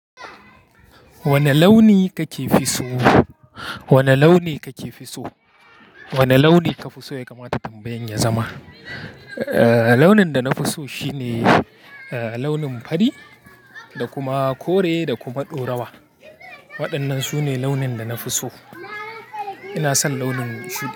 Wane launi ka fi so? Wane launi kake fi so? Wane launi ka fi so ya kamata tambayen ya zama? Launin da na fi so shine, launin fari, da kuma kore da kuma ɗorawa. Waɗannan sune launin da na fi so. Ina son launin shudi.